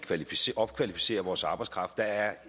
opkvalificerer vores arbejdskraft der er